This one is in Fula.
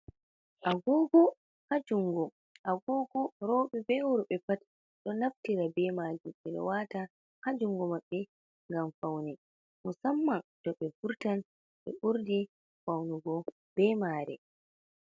Agogo ha jungo, agogo robe ɓe worbe pat do naftira be majum, ɓeɗa wata ha jungu maɓɓe ngam faune, musamman to ɓe vurtan be ɓurdi faunu go be mare.